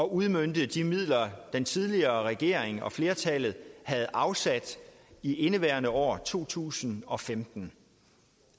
udmønte de midler den tidligere regering og flertallet havde afsat i indeværende år altså i to tusind og femten